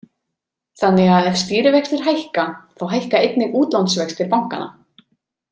Þannig að ef stýrivextir hækka, þá hækka einnig útlánsvextir bankanna.